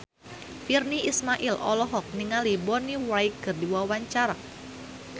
Virnie Ismail olohok ningali Bonnie Wright keur diwawancara